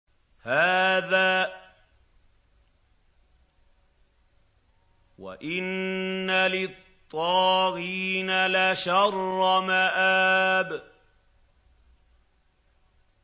هَٰذَا ۚ وَإِنَّ لِلطَّاغِينَ لَشَرَّ مَآبٍ